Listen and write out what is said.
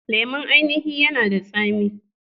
Lemon ainihin yanada tsami.